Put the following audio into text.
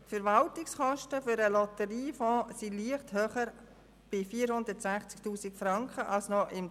Die Verwaltungskosten für den Lotteriefonds sind leicht höher als 2016 und betragen 460 000 Franken.